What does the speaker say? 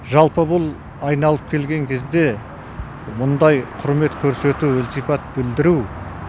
жалпы бұл айналып келген кезде мұндай құрмет көрсету ілтипат білдіру